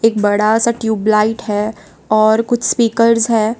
बड़ा सा ट्यूबलाइट है और कुछ स्पीकर्स है।